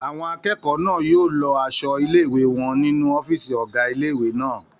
Àwọn akẹ́kọ̀ọ́ náà yóò lọ aṣọ ilé-ìwé wọn nínu ọ́fìsì ọgá ilé-ìwé náà